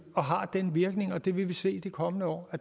den virkning og det vil vi se i de kommende år